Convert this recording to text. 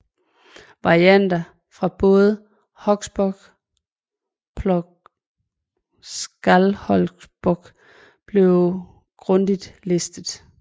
Varianter fra både Hauksbók pg Skálholtsbók bliver grundigt listet